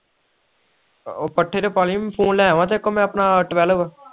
ਆਹੋ ਪੱਠੇ ਤੇ ਪਾ ਲਾਇ ਫੋਨ ਲੈ ਆਵਾ ਤੇਰੇ ਕੋਲ ਮੈਂ ਆਪਣਾ twelve